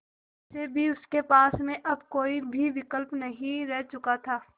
वैसे भी उनके पास में अब कोई भी विकल्प नहीं रह चुका था